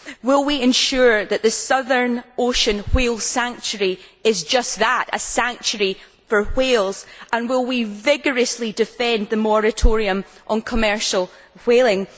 Will we ensure that the Southern Ocean whale sanctuary is just that, a sanctuary for whales, and will we rigorously defend the moratorium on commercial whaling?